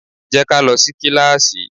Jẹ́ ká lọ sí kíláásì!